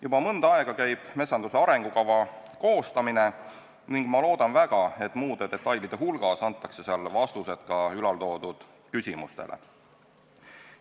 Juba mõnda aega käib metsanduse arengukava koostamine ning ma loodan väga, et muude detailide hulgas antakse seal vastused ka äsja nimetatud küsimustele.